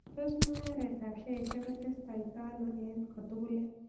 Tos' mung'aretap sheashiek kotestotai ano eng' kotukulet